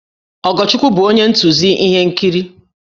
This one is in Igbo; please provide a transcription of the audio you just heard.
Ogochukwu bụ onye ntụzi ihe nkiri